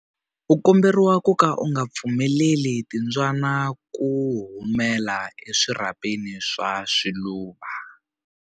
U komberiwa ku ka u nga pfumeleli timbyana ku humela eswirhapeni swa swiluva.